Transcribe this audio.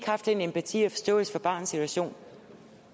haft den empati og forståelse for barnets situation